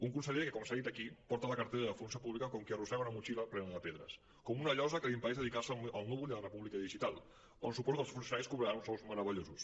un conseller que com s’ha dit aquí porta la cartera de funció pública com qui arrossega una motxilla plena de pedres com una llosa que li impedeix dedicar se al núvol i a la república digital on suposo que els funcionaris cobraran uns sous meravellosos